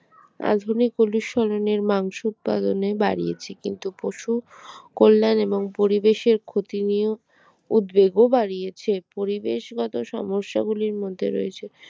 আধুনিকগুলি স্মরণে মাংস উৎপাদনে বাড়িয়েছে কিন্তু পশু কল্যাণ এবং পরিবেশের ক্ষতি নিয়েও উদ্বেগ ও বাড়িয়েছে পরিবেশগত সমস্যা গুলির মধ্যে রয়েছে